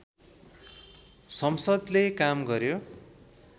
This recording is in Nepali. संसद्ले काम गर्‍यो